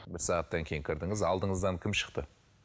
бір сағаттан кейін кірдіңіз алдыңыздан кім шықты